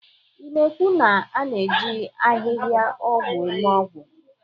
Ị na-ekwu na a na-eji ahịhịaọgwụ eme ọgwụ?